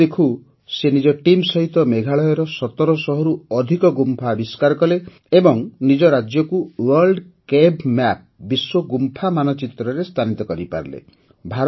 ଦେଖୁ ଦେଖୁ ନିଜ ଟିମ୍ ସହିତ ସେ ମେଘାଳୟର ୧୭୦୦ରୁ ଅଧିକ ଗୁମ୍ଫା ଆବିଷ୍କାର କଲେ ଏବଂ ନିଜ ରାଜ୍ୟକୁ ୱର୍ଲ୍ଡ କେଭ୍ ମ୍ୟାପ ବିଶ୍ୱ ଗୁମ୍ଫା ମାନଚିତ୍ରରେ ସ୍ଥାନିତ କରିପାରିଲେ